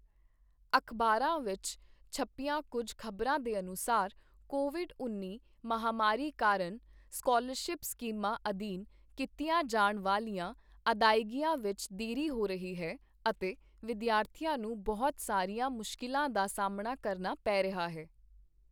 ਅਖ਼ਬਾਰਾਂ ਵਿੱਚ ਛਪੀਆਂ ਕੁੱਝ ਖ਼ਬਰਾਂ ਦੇ ਅਨੁਸਾਰ ਕੋਵਿਡ ਉੱਨੀ ਮਹਾਮਾਰੀ ਕਾਰਨ ਸਕਾਲਰਸ਼ਿਪ ਸਕੀਮਾਂ ਅਧੀਨ ਕੀਤੀਆਂ ਜਾਣ ਵਾਲੀਆਂ ਅਦਾਇਗੀਆਂ ਵਿੱਚ ਦੇਰੀ ਹੋ ਰਹੀ ਹੈ ਅਤੇ ਵਿਦਿਆਰਥੀਆਂ ਨੂੰ ਬਹੁਤ ਸਾਰੀਆਂ ਮੁਸ਼ਕਿਲਾਂ ਦਾ ਸਾਹਮਣਾ ਕਰਨਾ ਪੈ ਰਿਹਾ ਹੈ।